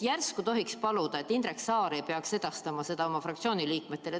Järsku tohiks paluda, et Indrek Saar ei peaks seda edastama oma fraktsiooni liikmetele.